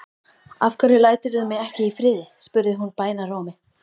Af hverju læturðu mig ekki í friði? spurði hún bænarrómi.